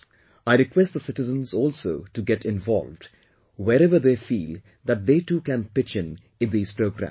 I request the citizens also to get involved, wherever they feel that they too can pitch in these programmes